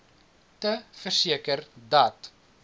te verseker dat